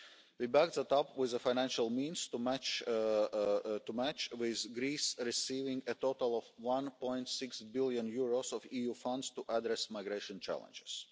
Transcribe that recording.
We backed up our action with the financial resources to match, with Greece receiving a total of EUR 1.6 billion of EU funds to address migration challenges.